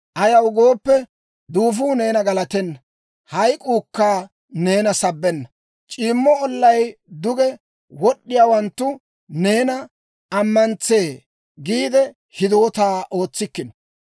Ayaw gooppe, duufuu neena galatenna; hayk'k'uukka neena sabbenna. C'iimma ollaw duge wod'd'iyaawanttu neena ammantsee giide hidootaa ootsikkino.